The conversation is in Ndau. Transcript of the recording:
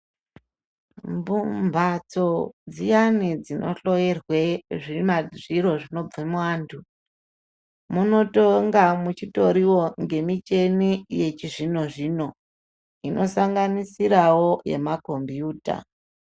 Mbatso dziyani dzinohloerwe zviro zvinobva muanthu munotonga muchitoriwo ngemichhini yechi zvino-zvino nosanganisirawo yemakhombiyuta.